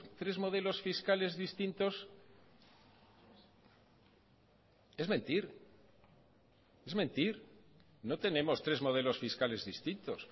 tres modelos fiscales distintos es mentir es mentir no tenemos tres modelos fiscales distintos